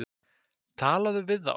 Tala við þá.